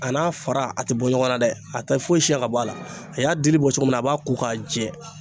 A n'a fara a tɛ bɔ ɲɔgɔnna dɛ, a tɛ foyi siyan ka bɔ a la , a y'a dili bɔ cogo min na, a b'a ko k'a jɛ.